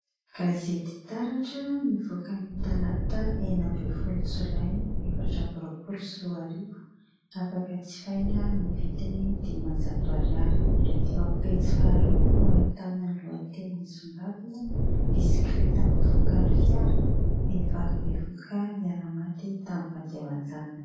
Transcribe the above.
Gazetytaratra nivoaka nytalata enina ambin 'nyfolo jolay efatra ambirompolo sy roarivo ,afaka jifaina amin nyvidiny dimanjato ariary .Eo amin nypejy faharoa no ahiitana ny lohateny misongadina : bisikileta voafaokan 'ny fiara vehivavy bevoka niara-maty tamin'ny vady aman_janany.